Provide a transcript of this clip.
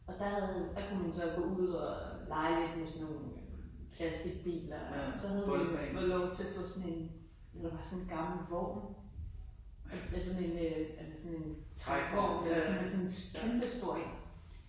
Og der havde han der kunne man så gå ud og lege lidt med sådan nogen øh plasticbiler så havde vi fået lov til at få sådan en det var bare sådan en gammel vogn altså en øh altså sådan en trækvogn men sådan en kæmpestor en